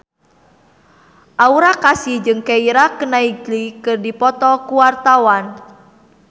Aura Kasih jeung Keira Knightley keur dipoto ku wartawan